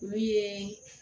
Olu ye